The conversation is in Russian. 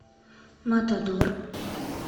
матадор